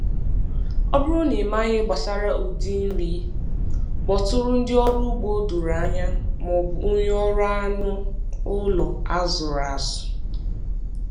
Ọ bụrụ na ịmaghị gbasara ụdị nri, kpọtụrụ ndị ọrụ ugbo o doro anya maọbụ onye ọrụ anụ ụlọ a zụrụ azụ.